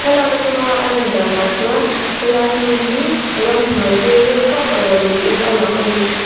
thlalak atanga a lan danah chuan helai hmun hi ramhnuai pilril vak lo niin a lang a ni.